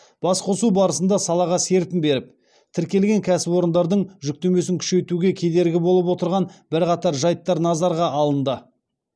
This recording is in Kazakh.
басқосу барысында салаға серпін беріп тіркелген кәсіпорындардың жүктемесін күшейтуге кедергі болып отырған бірқатар жайттар назарға алынды